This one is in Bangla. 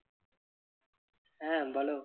হ্যাঁ বলো।